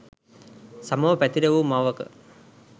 සමව පැතිර වූ මවක